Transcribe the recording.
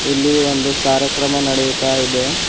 ಇಲ್ಲಿ ಒಂದು ಕಾರ್ಯಕ್ರಮ ನಡೆಯುತ್ತಾ ಇದೆ.